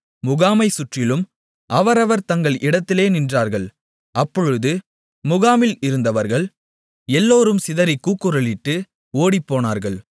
முகாமைச் சுற்றிலும் அவரவர் தங்கள் இடத்திலே நின்றார்கள் அப்பொழுது முகாமில் இருந்தவர்கள் எல்லோரும் சிதறிக் கூக்குரலிட்டு ஓடிப்போனார்கள்